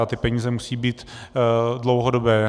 A ty peníze musí být dlouhodobé.